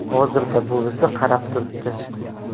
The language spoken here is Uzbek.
Hozirda buvisi qarab turibdi.